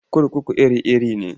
Kurkuku iri-iri ne.